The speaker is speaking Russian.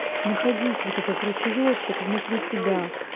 находить вот этот ручеечек внутри себя